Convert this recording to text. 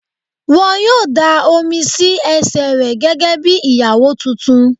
Wọ́n yóò dáa omi sí ẹsẹ̀ rẹ gẹ́gẹ́ bí Ìyàwó tuntun.